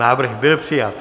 Návrh byl přijat.